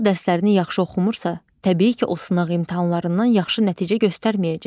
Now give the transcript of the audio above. Uşaq dərslərini yaxşı oxumursa, təbii ki, o sınaq imtahanlarından yaxşı nəticə göstərməyəcək.